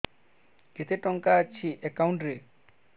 କେତେ ଟଙ୍କା ଅଛି ଏକାଉଣ୍ଟ୍ ରେ